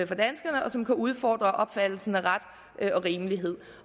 for danskerne og som kan udfordre opfattelsen af ret og rimelighed